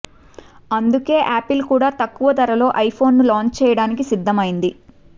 అందుకే యాపిల్ కూడా తక్కువ ధరలో ఐఫోన్ ను లాంచ్ చేయడానికి సిద్ధం అయింది